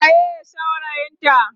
waye saurayin ta?